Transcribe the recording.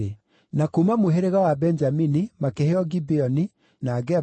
Na kuuma mũhĩrĩga wa Benjamini makĩheo Gibeoni, na Geba,